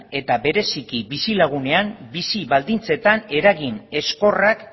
eta bereziki bizilagunen bizi baldintzetan eragin ezkorrak